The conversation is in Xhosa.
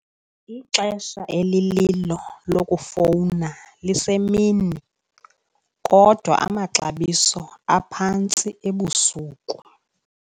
Ixesha elililo lokufowuna lisemini kodwa amaxabiso aphantsi ebusuku.